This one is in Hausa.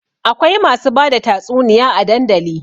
Akwai masu bada tatsuniya a dandali